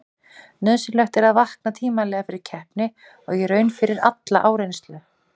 Nauðsynlegt er að vakna tímanlega fyrir keppni og í raun fyrir alla áreynslu.